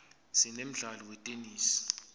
sinemdlalo wetenesi